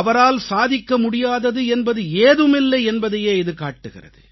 அவரால் சாதிக்க முடியாதது என்பது ஏதுமில்லை என்பதையே இது காட்டுகிறது